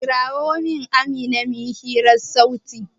Kira min Amina mu yi hirar sauti!